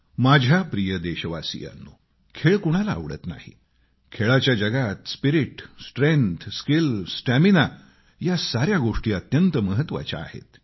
माझ्या प्रिय देशवासियांनो खेळ कुणाला आवडत नाही खेळांच्या जगात स्पिरीट स्ट्रेंग्थ स्किल स्टॅमीना या साऱ्या गोष्टी अत्यंत महत्वाच्या आहेत